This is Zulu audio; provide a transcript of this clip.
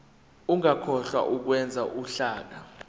ungakhohlwa ukwenza uhlaka